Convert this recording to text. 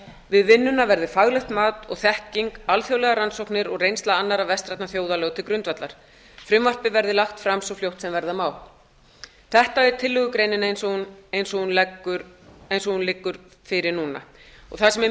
við vinnuna verði faglegt mat og þekking alþjóðlegar rannsóknir og reynsla annarra vestrænna þjóða lögð til grundvallar frumvarpið verði lagt fram svo fljótt sem verða má þetta er tillögugreinin eins og hún liggur fyrir núna það sem er